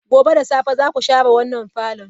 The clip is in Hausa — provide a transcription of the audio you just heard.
Gobe ​​da safe zaku share wannan parlour?